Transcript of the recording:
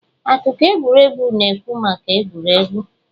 Akụkọ egwuregwu na-ekwu maka egwuregwu.